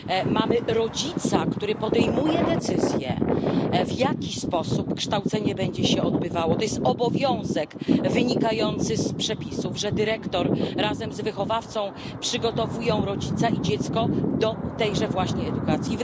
Mamy rodzica, który podejmuje decyzję, w jaki sposób będzie się odbywało kształcenie. To jest obowiązek wynikający z przepisów, że dyrektor razem z wychowawcą przygotowują rodzica i dziecko do tejże właśnie edukacji.